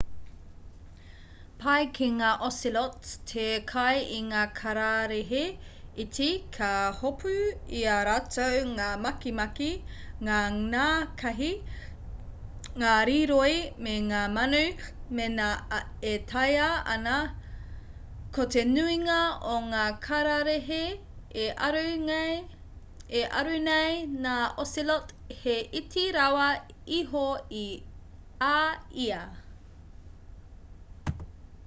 pai ki ngā ocelots te kai i ngā kararehe iti ka hopu i a rātou ngā makimaki ngā nākahi ngā rīroi me ngā manu mēnā e taea ana ko te nuinga o ngā kararehe e aru nei ngā ocelot he iti rawa iho i a ia